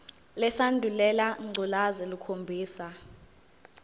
lesandulela ngculazi lukhombisa